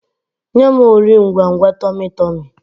Nye m Ori ngwangwa tummy tummy!